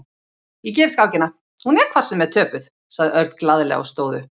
Ég gef skákina, hún er hvort sem er töpuð, sagði Örn glaðlega og stóð upp.